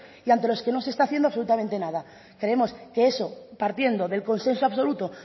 y ante los que no se está haciendo absolutamente nada creemos que eso partiendo del consenso absoluto